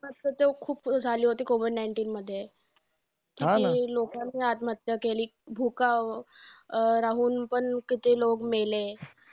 आत्महत्या तर खूप झाली होती, COVID nineteen मध्ये. किती लोकांनी आत्महत्या केली. राहून पण किती लोकं मेले.